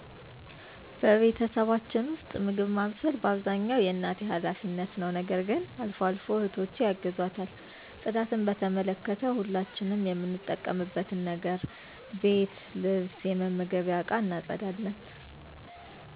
በቤተሰባችን ውስጥ፣ ምግብ ማብሰል በአብዛኛው የእናቴ ኃላፊነት ነው። ነገር ግን አልፎ አልፎ እህቶቸ ያግዟል። ጽዳትን በተመለከተ፣ ሁላችንም የምንጠቀምበትን ነገር ቤት ልብስ የመመገቢያ እቃ እናፀዳለን።